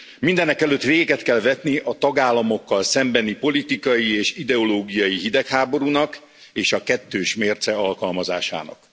Mindenekelőtt véget kell vetni a tagállamokkal szembeni, politikai és ideológiai hidegháborúnak és a kettős mérce alkalmazásának.